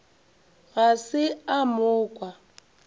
ga se a mo kwa